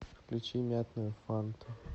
включи мятную фанту